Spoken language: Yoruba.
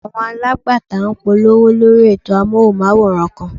Àwọn alágbàtà ń polówó lórí ètò Amóhùnmáwòrán kan.